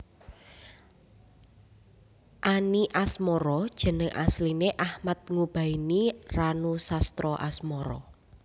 Any Asmara jeneng asline Achmad Ngubaeni Ranusastraasmara